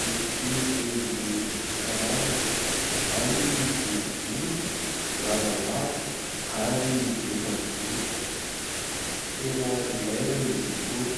misy endriny isankarazany. Ao ny boribory, lavalava, ary efajoro. Tena ilaina izy itony.